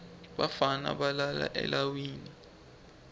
bafana balala eleiwini